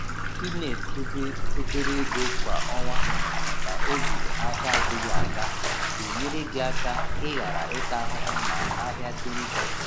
i na edebe obere ego kwa ọnwa maka oge ahịa adịghị aga. ga-enyere gị aka i ghara ịta ahụhụ ma ahịa dị njọ.